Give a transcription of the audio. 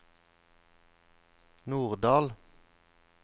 Norddal